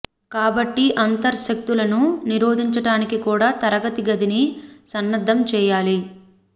కాబట్టి అంతర్ శక్తులను నిరోధించటానికి కూడా తరగతి గదిని సన్నద్ధం చేయాలి